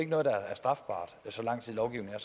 noget der er strafbart så lang tid lovgivningen